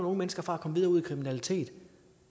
unge mennesker fra at komme videre ud i kriminalitet